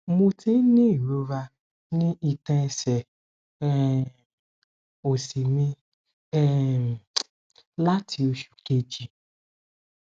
mo ti ní irora ni itan ẹsẹ um osi mi um lati osu keji